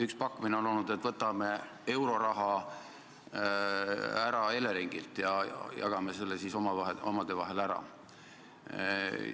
Üks pakkumine on olnud, et võtame Eleringilt euroraha ära ja jagame selle omade vahel ära.